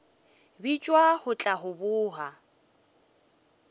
bitšwa go tla go boga